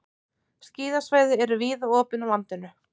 Skíðasvæði eru víða opin á landinu